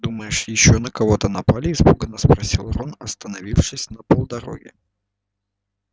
думаешь ещё на кого-то напали испуганно спросил рон остановившись на полдороги